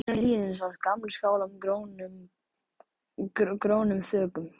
Innar í hlíðinni sáust gamlir skálar með grónum þökum.